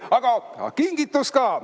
Aga kingitus ka.